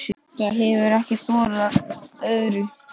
Það hefir ekki þorað öðru.